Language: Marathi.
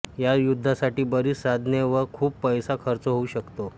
या युद्धासाठी बरीच साधने व खूप पैसा खर्च होऊ शकतो